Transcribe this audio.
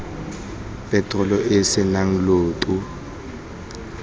peterolo e e senang lloto